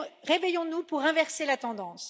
Réveillons nous pour inverser la tendance.